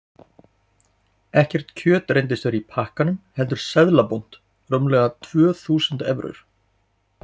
Ekkert kjöt reyndist vera í pakkanum heldur seðlabúnt, rúmlega tvö þúsund evrur.